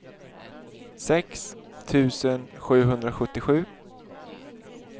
sex tusen sjuhundrasjuttiosju